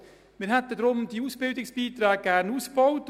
Wir hätten deshalb die Ausbildungsbeiträge gerne ausgebaut.